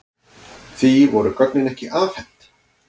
Því voru gögnin ekki afhent.